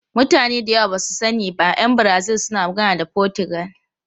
Mutane da yawa ba su sani ba, ’yan Brazil suna magana da Fotigal.